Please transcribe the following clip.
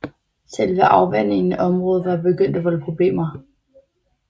Selve afvandingen af området var begyndt at volde problemer